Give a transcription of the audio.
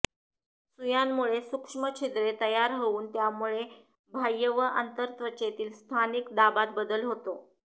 सुयांमुळे सूक्ष्म छिद्रे तयार होऊन त्यामुळे बाह्य व आंतरत्वचेत स्थानिक दाबात बदल होतो